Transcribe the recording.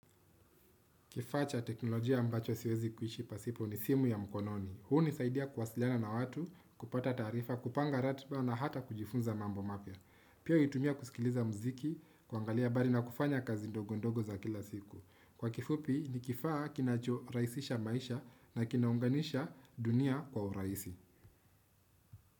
Kifaa cha teknolojia ambacho siwezi kuishi pasipo ni simu ya mkononi. Hunisaidia kuwasiliana na watu, kupata taarifa, kupanga ratiba na hata kujifunza mambo mapya. Pia huitumia kusikiliza muziki, kuangalia habari na kufanya kazi ndogo ndogo za kila siku. Kwa kifupi, ni kifaa kinacho rahisisha maisha na kinaunganisha dunia kwa urahisi.